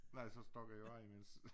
Nej så stak jeg jo imens